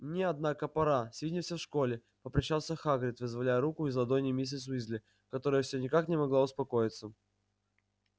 мне однако пора свидимся в школе попрощался хагрид вызволяя руку из ладоней миссис уизли которая все никак не могла успокоиться